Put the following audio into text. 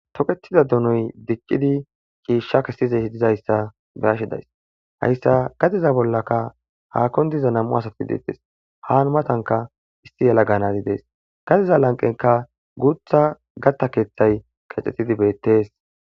toketida dunoy diccidi ciishsha kessizey dizayssa beashe days hayssa gadeza bollaka haakon diza nam7u asati deettes haan matanka isti yela ganazi dees gadeza lanqenka guutha gatta keeththay kexxexidi beettees